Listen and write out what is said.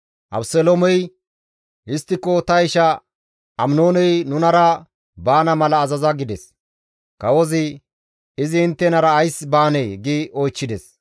Abeseloomey, «Histtiko ta isha Aminooney nunara baana mala azaza» gides. Kawozi, «Izi inttenara ays baanee?» gi oychchides.